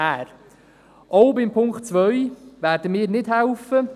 Auch beim Punkt 2 werden wir nicht mithelfen.